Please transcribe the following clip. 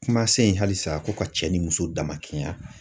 Kuma se in, halisa , ko ka cɛ ni muso dama kelenya